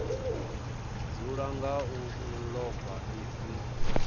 dzula nga u ḽova misi